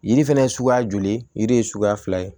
Yiri fɛnɛ ye suguya joli yiri ye suguya fila ye